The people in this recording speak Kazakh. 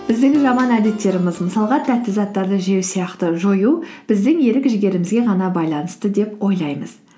біздің жаман әдеттеріміз мысалға тәтті заттарды жеу сияқты жою біздің ерік жігерімізге ғана байланысты деп ойлаймыз